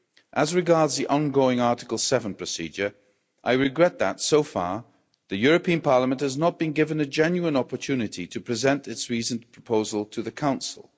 As regards the ongoing Article 7 procedure, I regret that, so far, the European Parliament has not been given a genuine opportunity to present its reasoned proposal to the Council.